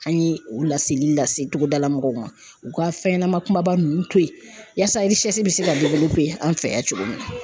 An ye u laseli lase cogodala mɔgɔw ma, u ka fɛn ɲɛnama kumaba ninnu to ye yaasa bɛ se ka an fɛ yan cogo min na